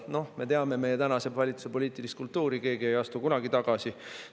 Noh, me teame meie tänase valitsuse poliitilist kultuuri, keegi ei astu kunagi tagasi.